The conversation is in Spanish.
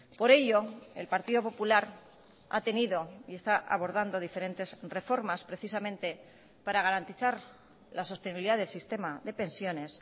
por ello el partido popular ha tenido y está abordando diferentes reformas precisamente para garantizar la sostenibilidad del sistema de pensiones